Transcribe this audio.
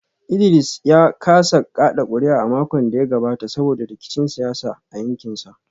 Idris ya kasa kada kuri’a a makon da ya gabata saboda rikicin siyasa a yankinsa